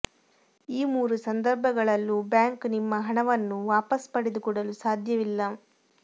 ಈ ಮೂರು ಸಂದರ್ಭಗಳಲ್ಲೂ ಬ್ಯಾಂಕ್ ನಿಮ್ಮ ಹಣವನ್ನು ವಾಪಸ್ ಪಡೆದು ಕೊಡಲು ಸಾಧ್ಯವಿಲ್ಲ